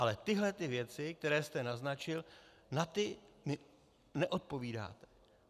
Ale na tyhle věci, které jste naznačil, na ty mi neodpovídáte.